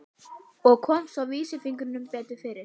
Og kom svo vísifingrinum betur fyrir.